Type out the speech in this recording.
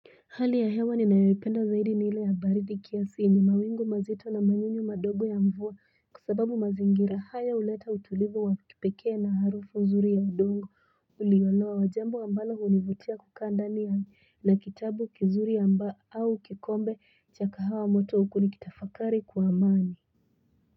Hali ya hewa ni nayoipenda zaidi ni ile ya baridi kiasi yenye mawingu mazito na manyunyu madogo ya mvua kwasababu mazingira haya uleta utulivu wa kipekee na harufu nzuri ya udongo ulioloa jambo ambalo hunivutia kukaa ndani ya na kitabu kizuri au kikombe cha kahawa moto huku nikitafakari kwa amani.